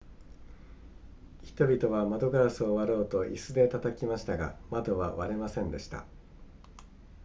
人々は窓ガラスを割ろうと椅子で叩きましたが窓は割れませんでした